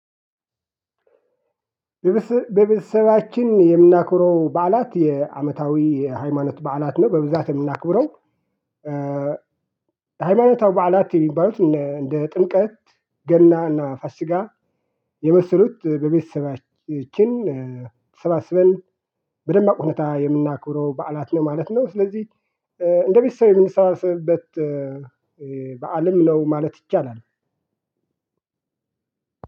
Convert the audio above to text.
በቤተሰባችን የምናክብረው በዓላት የአመታዊ የሃይማኖት በዓላት ነው በብዛት የምናክብረው። ሃይማኖታዊ በዓላት የሚባሉት እንደ ጥምቀት ገና እና ፋሲጋ የመሰሉት በቤተሰባችን ተሰባስበን በደማቅ ሁኔታ የምናክብረው በዓላት ነው ማለት ነው። ስለዚህ እንደ ቤተሰብ የምንሰባሰብበት በዓልም ነው ማለት ይቻላል።